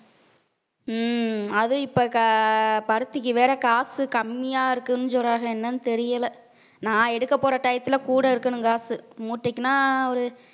உம் அது இப்ப ஆஹ் பருத்திக்கு வேற காசு கம்மியா இருக்குன்னு சொல்றாங்க என்னன்னு தெரியல நான் எடுக்கப் போற time ல கூட இருக்கணும் காசு மூட்டைக்குன்னா ஒரு